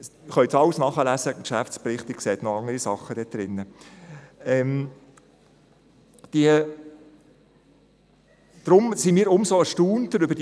Das können Sie alles im Geschäftsbericht nachlesen, dort können Sie noch andere Sachen sehen.